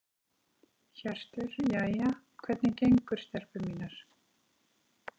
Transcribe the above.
Hjörtur: Jæja, hvernig gengur stelpur mínar?